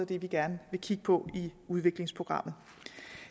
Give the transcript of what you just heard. det vi gerne vil kigge på i udviklingsprogrammet